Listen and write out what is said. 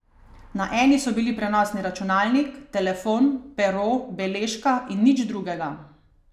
Na eni so bili prenosni računalnik, telefon, pero, beležka in nič drugega.